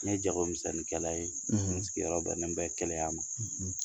Ne ye jagomisɛnninkɛla ye n sigiyɔrɔ bɛnnen bɛ kɛlɛya ma.